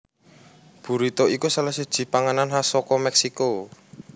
Burrito iku salah siji panganan khas saka Mèksiko